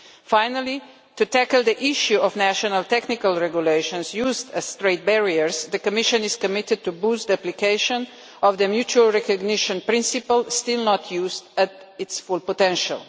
Finally, to tackle the issue of national technical regulations used as straightforward barriers, the Commission is committed to boosting the application of the mutual recognition principle, still not used to its full potential.